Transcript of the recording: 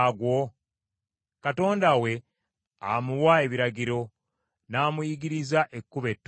Katonda we amuwa ebiragiro, n’amuyigiriza ekkubo etuufu.